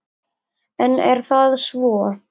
En er það svo?